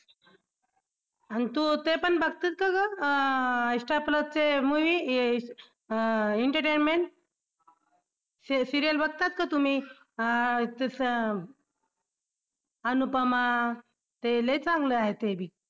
आणि तू तेपण बघतीस का गं अं insta plus चे movie अं entertainment हे serial बघतात का तुम्ही अं अनुपमा ते लई चांगलं आहे ते बी